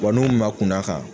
Wa n'u kunna kan.